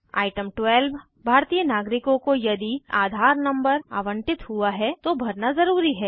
item 12 भारतीय नागरिकों को यदि आधार नंबर आवंटित हुआ है तो भरना ज़रूरी है